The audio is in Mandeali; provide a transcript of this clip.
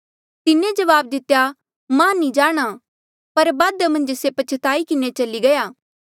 तिन्हें जवाब दितेया मां नी जाणा पर बादा मन्झ से पछताई किन्हें चली गया